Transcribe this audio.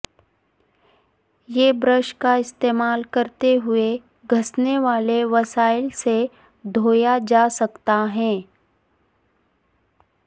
یہ برش کا استعمال کرتے ہوئے گھسنے والے وسائل سے دھویا جا سکتا ہے